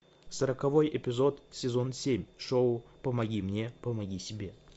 сороковой эпизод сезон семь шоу помоги мне помоги себе